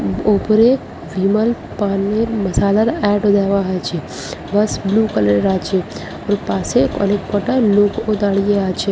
ওপরে বিমল পানের মাসালার এড ও দেয়া আছে বাস বুলু কালার এর আছে ওর পাশে অনেক কটা লোক ও দাঁড়িয়ে আছে।